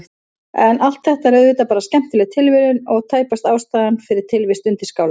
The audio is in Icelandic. En allt þetta er auðvitað bara skemmtileg tilviljun og tæpast ástæðan fyrir tilvist undirskála.